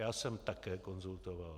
Já jsem také konzultoval.